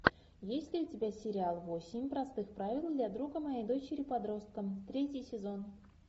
есть ли у тебя сериал восемь простых правил для друга моей дочери подростка третий сезон